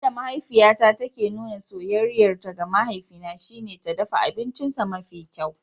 Yadda mahaifiyata take nuna soyayyarta ga mahaifina shine ta dafa abincinsa mafi kyau.